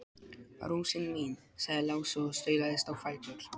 Rósin mín, sagði Lási og staulaðist á fætur.